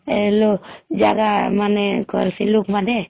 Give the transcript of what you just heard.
ଲହମ୍ଜାଗା ମାନେ କରସି ଲୁକ ମାନେ